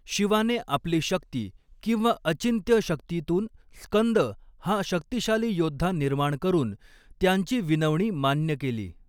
शिवाने आपली शक्ती किंवा अचिंत्य शक्तीतून स्कंद हा शक्तिशाली योद्धा निर्माण करून त्यांची विनवणी मान्य केली.